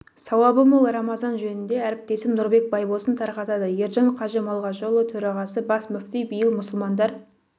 сауабы мол рамазан жөнінде әріптесім нұрбек байбосын тарқатады ержан қажы малғажыұлы төрағасы бас мүфти биыл мұсылмандар